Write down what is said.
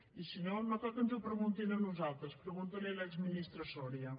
i si no no cal que ens ho preguntin a nosaltres pregunti ho a l’exministre soria